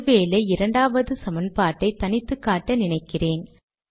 ஒரு வேளை இரண்டாவது சமன்பாட்டை தனித்து காட்ட நினைக்கிறேன்